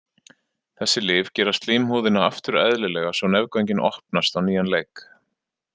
Þessi lyf gera slímhúðina aftur eðlilega svo nefgöngin opnast á nýjan leik.